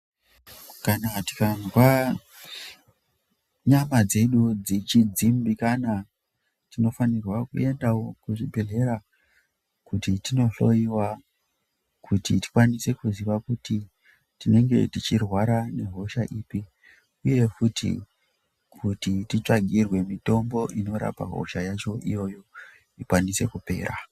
Kana tikazwa nyama dzedu dzichidzimbikana tinofanirwa kuendawo kuzvibhedhlera kuti tinohloiwa kuti tikwanise kuziva kuti tinenge tichirwara nehosha ipi uye futi kuti titsvagirwe mitombo inorapa hosha yacho iyoyo ikwanise kupera.